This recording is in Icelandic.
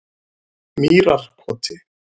Mýrarkoti